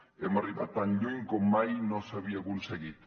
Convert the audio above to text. hem arribat tan lluny com mai no s’havia aconseguit